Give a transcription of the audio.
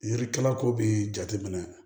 Yiri kala ko bi jateminɛ